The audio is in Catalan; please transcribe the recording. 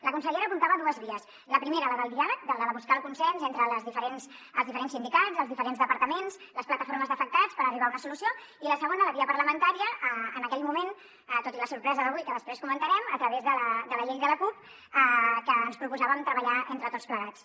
la consellera apuntava dues vies la primera la del diàleg la de buscar el consens entre els diferents sindicats els diferents departaments les plataformes d’afectats per arribar a una solució i la segona la via parlamentària en aquell moment tot i la sorpresa d’avui que després comentarem a través de la llei de la cup que ens proposàvem treballar entre tots plegats